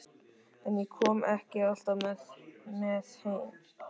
En ég kom ekki alltaf með heim.